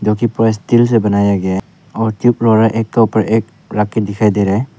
जो कि पूरा स्टील से बनाया गया है और एक के ऊपर एक रख के दिखाई दे रहा है।